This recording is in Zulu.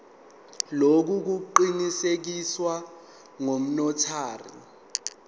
lokhu kuqinisekiswe ngunotary